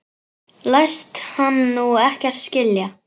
Læst hann nú ekkert skilja?